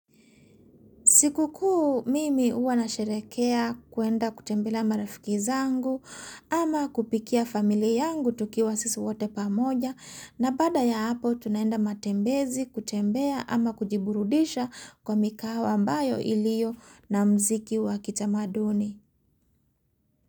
Siku kuu mimi uwa na sherekea kuenda kutembelea marafiki zangu ama kupikia famili yangu tukiwa sisi wote pamoja na bada ya hapo tunaenda matembezi kutembea ama kujiburudisha kwa mikahawa ambayo ilio na mziki wa kitamaduni.